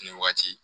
Nin waati